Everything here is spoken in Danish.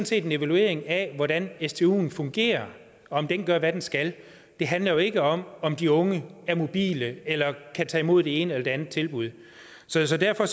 set en evaluering af hvordan stuen fungerer om den gør hvad den skal det handler jo ikke om om de unge er mobile eller kan tage imod det ene eller det andet tilbud så så derfor